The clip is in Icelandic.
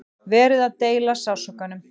Verið að deila sársaukanum